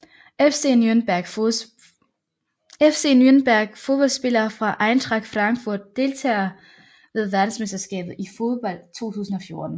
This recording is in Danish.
FC Nürnberg Fodboldspillere fra Eintracht Frankfurt Deltagere ved verdensmesterskabet i fodbold 2014